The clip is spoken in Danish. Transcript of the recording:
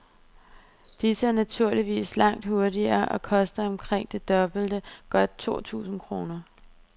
Disse er naturligvis langt hurtigere og koster omkring det dobbelte, godt to tusind kroner.